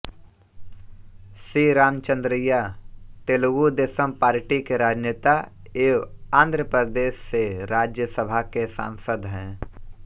सी Ramachandraiah Telugu Desam party के राजनेता एवं आन्ध्र प्रदेश से राज्यसभा के सांसद हैं